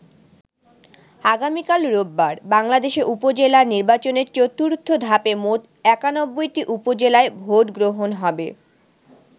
আগামিকাল রোববার বাংলাদেশে উপজেলা নির্বাচনের চতুর্থ ধাপে মোট ৯১টি উপজেলায় ভোটগ্রহণ হবে।